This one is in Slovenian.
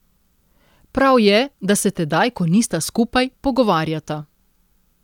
Prav je, da se tedaj, ko nista skupaj, pogovarjata.